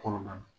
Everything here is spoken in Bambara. Kɔnɔna na